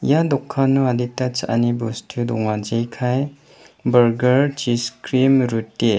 ia dokano adita cha·ani bostu donga jekai bargar chis krim ruti.